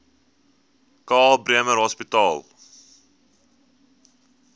karl bremer hospitaal